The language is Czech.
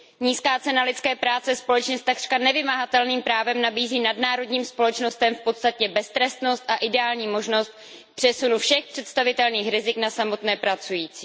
Nízká cena lidské práce společně s takřka nevymáhatelným právem nabízí nadnárodním společnostem podstatně beztrestnost a ideální možnost přesunu všech představitelných rizik na samotné pracující.